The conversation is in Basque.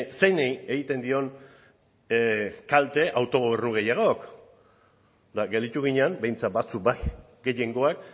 zeini egiten dion kalte autogobernu gehiagok eta gelditu ginen behintzat batzuk bai gehiengoak